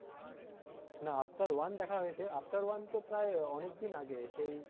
না Avatar one দেখা হয়েছে Avatar one তো প্রায় অনেকদিন আগে সেই,